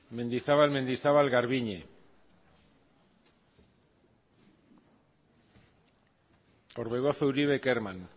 mendizabal mendizabal garbiñe orbegozo uribe kerman